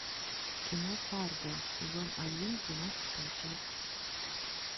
кино фарго сезон один двенадцатая часть